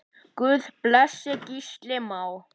Guð blessi Gísla Má.